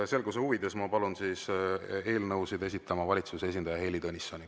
Selguse huvides ma palun eelnõusid esitama valitsuse esindaja Heili Tõnissoni.